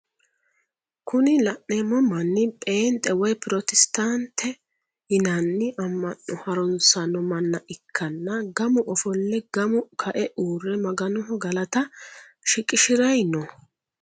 Kuni la'neemo manni pheenxe woye Protestant yinanni amma'no harunsanno mana ikkanna gamu offolle gamu ka"e uure maganoho galata shiqishirayi no.